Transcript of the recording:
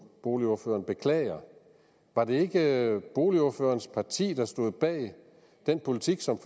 boligordføreren beklager var det ikke boligordførerens parti der stod bag den politik som